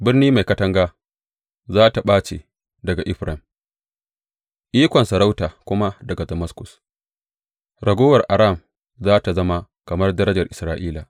Birni mai katanga za tă ɓace daga Efraim, ikon sarauta kuma daga Damaskus; raguwar Aram za tă zama kamar darajar Isra’ila,